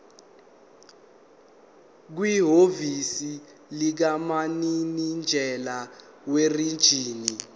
kwihhovisi likamininjela werijini